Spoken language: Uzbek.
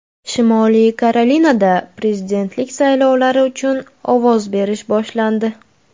Shimoliy Karolinada prezidentlik saylovlari uchun ovoz berish boshlandi .